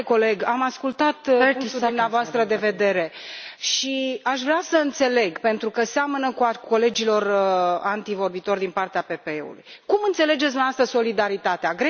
Stimate coleg, am ascultat punctul dumneavoastră de vedere și aș vrea să înțeleg, pentru că seamănă cu al colegilor antevorbitori din partea PPE cum înțelegeți dumneavoastră solidaritatea?